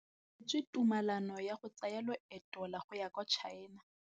O neetswe tumalanô ya go tsaya loetô la go ya kwa China.